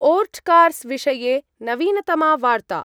ओर्ट्कार्स् विषये नवीनतमा वार्ता।